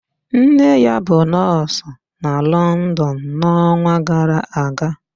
Nne ya bụ nọọsụ na London n'ọnwa gara aga